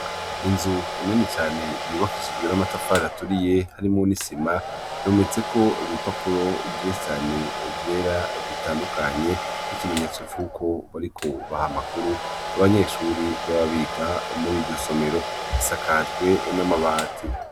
Inzu nini cane yubakishijwe n'amatafari aturiye harimwo n'isima. yometse ko ibipapuro vyishi cane vyera bitandukanye. N'ikimenyetso c'uko bariko baha makuru abanyeshuri baba biga mur'iryo somero. Isakajwe n'amabati.